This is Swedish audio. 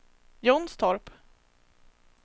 Jonstorp